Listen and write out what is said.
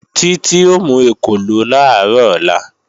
Títí ó mú ekòló làárọ̀ ọ̀la